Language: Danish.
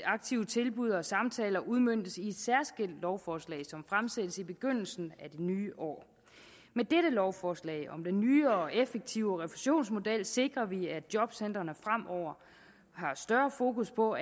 aktive tilbud og samtaler udmøntes i et særskilt lovforslag som fremsættes i begyndelsen af det nye år med dette lovforslag om den nye og effektive refusionsmodel sikrer vi at jobcentrene fremover har større fokus på